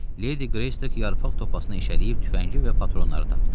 Ledi Qreystok yarpaq topasını eşələyib tüfəngi və patronları tapdı.